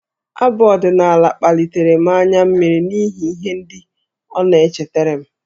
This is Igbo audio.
Abụ ọdịnaala kpalitere m anya mmiri n'ihi ihe ndị ọ na-echetara m.